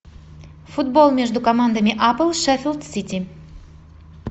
футбол между командами апл шеффилд сити